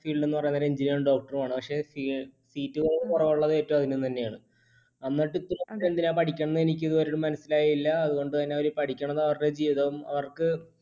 field എന്ന് പറയുന്നേരം engineer ഉം doctor ഉം ആണ്. പക്ഷെ ഉം seat കുറവുള്ളത് ഏറ്റവും അതിനും തന്നെയാണ്. എന്നിട്ട് ഇപ്പോ എന്തിനാ പഠിക്കുന്നത് എനിക്ക് ഇതുവരെയും മനസ്സിലായില്ല അതുകൊണ്ടുതന്നെ അവർ